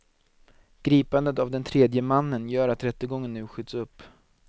Gripandet av den tredje mannen gör att rättegången nu skjuts upp.